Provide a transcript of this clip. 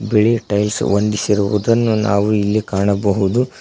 ಬಿಳಿ ಟೈಲ್ಸ್ ಹೊಂದಿಸಿರುವುದನ್ನು ನಾವು ಇಲ್ಲಿ ಕಾಣಬಹುದು.